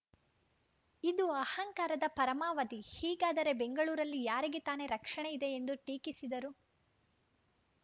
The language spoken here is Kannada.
ಇದು ಅಂಹಕಾರದ ಪರಮಾವಧಿ ಹೀಗಾದರೆ ಬೆಂಗಳೂರಲ್ಲಿ ಯಾರಿಗೆ ತಾನೇ ರಕ್ಷಣೆ ಇದೆ ಎಂದು ಟೀಕಿಸಿದರು